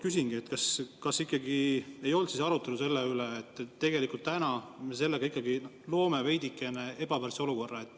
Küsingi, kas ei olnud arutelu selle üle, et tegelikult me loome veidikene ebavõrdse olukorra.